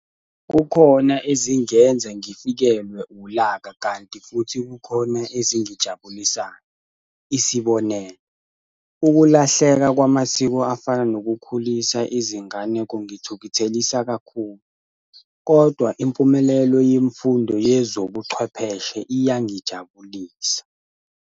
Kukhona ezingenza ngifikelwe ulaka kanti futhi kukhona ezingijabulisayo. Isibonelo, ukulahleka kwamasiko afana nokukhulisa izingane kungithukuthelisa kakhulu kodwa impumelelo yemfundo yezobuchwepheshe iyangijabulisa.